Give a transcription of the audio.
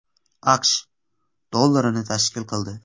AQSh dollarini tashkil qildi.